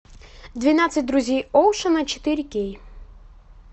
двенадцать друзей оушена четыре кей